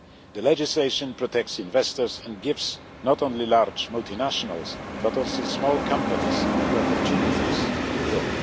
The legislation protects investors and gives not only large multinationals, but also small companies, the opportunities to grow.